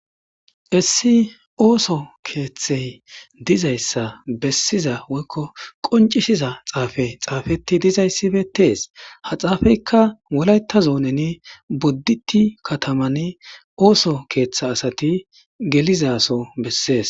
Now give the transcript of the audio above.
issi ooso keeththey dizayssa bessiza woykko qoncishiza xaafe xaafeti dizayssi beetes ha xaafeyka wolayta zoonen bodditi kataman ooso keeththa asati gelizaso bessees